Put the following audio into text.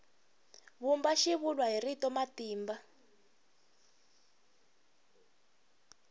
vumba xivulwa hi rito matimba